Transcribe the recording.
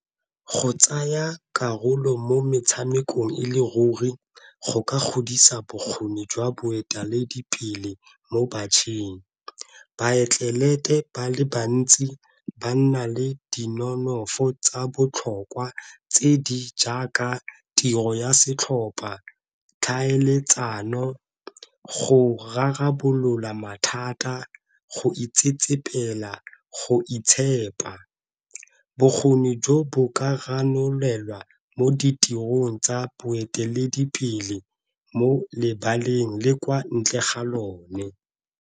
Bo tsaya karolo mo metshamekong e le ruri go ka godisa bokgoni jwa boeteledipele mo bašweng, baatlelete ba le bantsi ba nna le di nonofo tsa botlhokwa tse di jaaka tiro ya setlhopa, tlhaeletsano, go rarabolola mathata, go itsetsepela go itshepa. Bokgoni jo bo ka ranolelwa mo ditirong tsa boeteledipele mo lebaleng le kwa ntle ga lone.